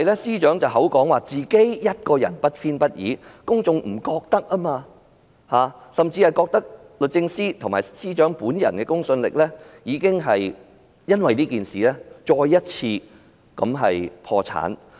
司長雖聲稱她不偏不倚，但公眾並不認同，甚至認為律政司及司長本人的公信力因這事件再次破產。